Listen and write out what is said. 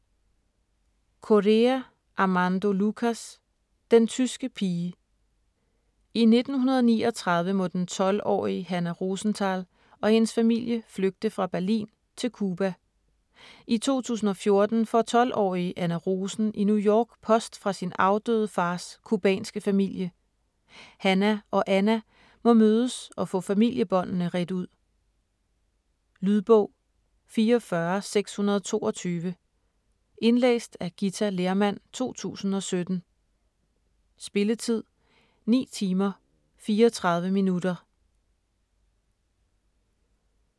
Correa, Armando Lucas: Den tyske pige I 1939 må den 12-årige Hannah Rosenthal og hendes familie flygte fra Berlin til Cuba. I 2014 får 12-årige Anna Rosen i New York post fra sin afdøde fars cubanske familie. Hannah og Anna må mødes og få familiebåndene redt ud. Lydbog 44622 Indlæst af Githa Lehrmann, 2017. Spilletid: 9 timer, 34 minutter.